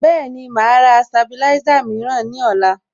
Bẹ́ẹ̀ni, màá rà Sabilisa mìíràn ní ọ̀la